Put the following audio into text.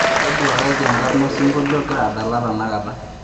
toduakaji enkarna osinkolio ogira adala tenakata